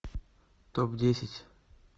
топ десять